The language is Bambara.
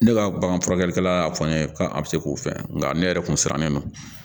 Ne ka bagan furakɛlikɛla y'a fɔ n ye k'a bɛ se k'o fɛn nka ne yɛrɛ kun siran bɛ ma